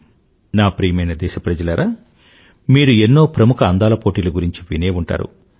నా ప్రియమైన దేశప్రజలారా మీరు ఎన్నో ప్రముఖ అందాల పోటీల గురించి వినే ఉంటారు